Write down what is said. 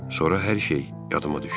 Sonra hər şey yadıma düşdü.